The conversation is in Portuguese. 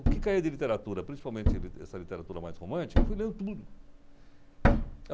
O que caía de literatura, principalmente li essa literatura mais romântica, eu fui lendo tudo.